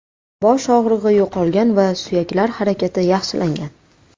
Bosh og‘rig‘i yo‘qolgan va suyaklar harakati yaxshilangan.